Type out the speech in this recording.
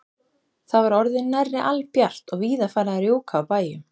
Það var orðið nærri albjart og víða farið að rjúka á bæjum.